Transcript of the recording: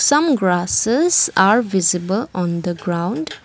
some grasses are visible on the ground.